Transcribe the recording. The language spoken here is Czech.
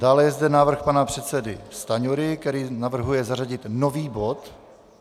Dále je zde návrh pana předsedy Stanjury, který navrhuje zařadit nový bod.